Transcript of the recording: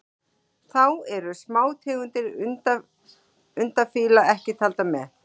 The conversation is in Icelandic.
Þá eru smátegundir undafífla ekki taldar með.